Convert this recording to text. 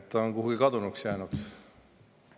Ta on kuhugi kadunuks jäänud.